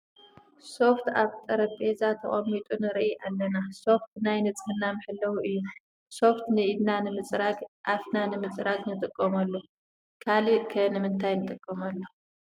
ሶፍት ኣብ ጠረጴዛ ተቐሚጡ ንሪኢ ኣለና፡፡ ሶፍት ናይ ንፅህና መሓለዊ እዩ፡፡ ሶፍቲ ኢድና ንምፅራግ፣ ኣፍና ንምፅራግ ንጥቀመሉ፡፡ ካልእ ኸ ንምንታይ ንጥቀመሉ?